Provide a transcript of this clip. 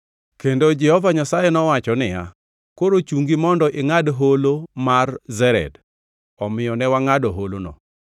Kendo Jehova Nyasaye nowacho niya, “Koro chungi mondo ingʼad Holo mar Zered.” Omiyo ne wangʼado holono.